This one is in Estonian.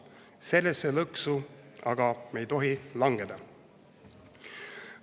Sellesse lõksu me aga ei tohi langeda!